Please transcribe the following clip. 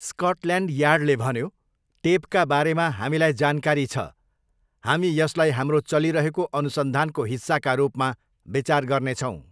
Scotland यार्डले भन्यो, 'टेपका बारेमा हामीलाई जानकारी छ, हामी यसलाई हाम्रो चलिरहेको अनुसन्धानको हिस्साका रूपमा विचार गर्नेछौँ'।